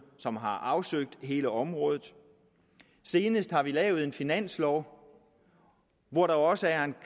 som har afsøgt hele området og senest har vi lavet en finanslov hvor der også er en